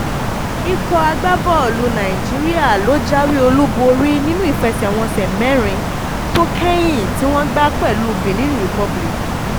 ikọ̀ agbábọ́ọ̀lù nàìjíríà ló jáwé olúborí nínú ìfẹsẹ̀wọnsẹ̀ mẹ́rin tó mẹ́rin tó kẹ́yìn tí wọ́n gbá pẹ̀lú benin republic